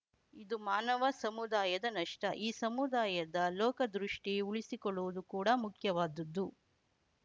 ಇದು ಮಾನವ ಸಮುದಾಯದ ನಷ್ಟ ಈ ಸಮುದಾಯದ ಲೋಕದೃಷ್ಟಿಉಳಿಸಿಕೊಳ್ಳುವುದು ಕೂಡ ಮುಖ್ಯವಾದುದು